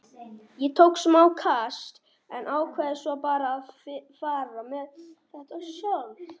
Ég tók smá kast en ákvað svo bara að fara með þetta sjálf.